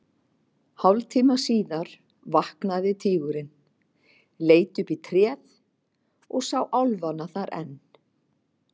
Hálftíma síðar vaknaði tígurinn, leit upp í tréð og sá álfana þar enn.